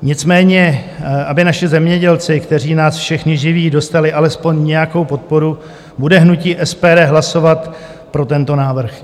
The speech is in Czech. Nicméně aby naši zemědělci, kteří nás všechny živí, dostali alespoň nějakou podporu, bude hnutí SPD hlasovat pro tento návrh.